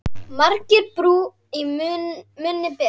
Margir brú í munni bera.